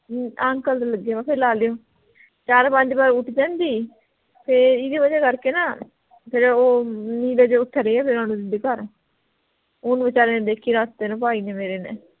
ਚਾਰ ਪੰਜ ਵਾਰ ਉੱਠ ਜਾਂਦੀ ਫੇਰ ਇਹਦੀ ਵਜ੍ਹਾ ਕਰਕੇ ਨਾ ਫੇਰ ਉਹ ਓਥੇ ਰਿਹਾ ਦੇ ਘਰ ਓਹਨੂੰ ਬੇਚਾਰੇ ਨੇ ਦੇਖਿਆ ਰਾਤੇ ਨੂੰ ਭਾਈ ਨੇ ਮੇਰੇ ਨੇ